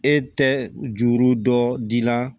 E tɛ juru dɔ di la